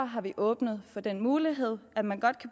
har vi åbnet for den mulighed at man godt